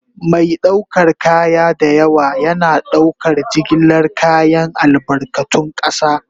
Mai ɗaukar kaya da yawa yana ɗaukar jigilar kayan albarkatun ƙasa.